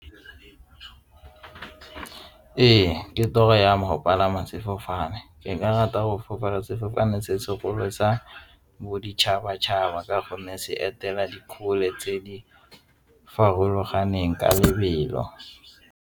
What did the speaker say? Ee, ke toro ya mo go palama sefofane, ke ka rata go fofa ka sefofane se sekolo tsa boditšhabatšhaba ka gonne se etela di kgole tse di farologaneng ka lebelo.